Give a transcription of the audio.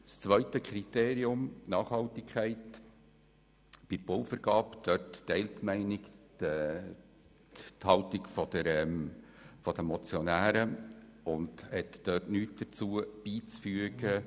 Was das zweite Kriterium – die Nachhaltigkeit bei der Bauvergabe – anbelangt, teilt die Mehrheit die Meinung der Motionäre und hat dem nichts beizufügen.